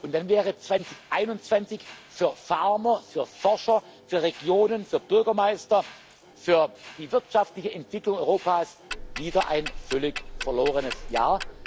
wird. Und dann wäre 2021 für Farmer, für Forscher, für Regionen, für Bürgermeister, für die wirtschaftliche Entwicklung Europas wieder ein völlig verlorenes